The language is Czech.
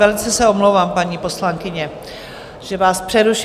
Velice se omlouvám, paní poslankyně, že vás přerušuji.